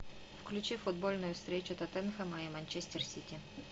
включи футбольную встречу тоттенхэма и манчестер сити